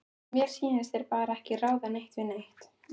Mér sýnist þeir bara ekki ráða neitt við neitt.